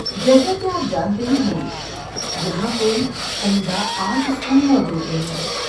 جیسا کہ آپ جانتے ہی ہوں گے، یہاں کوئی عمدہ آرٹ اسکول موجود نہیں ہے۔